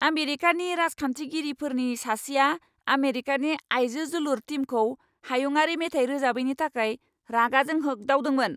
आमेरिकानि राजखान्थिगिरिफोरनि सासेया आमेरिकानि आइजो जोलुर टीमखौ हायुंआरि मेथाइ रोजाबैनि थाखाय रागाजों होग्दावदोंमोन।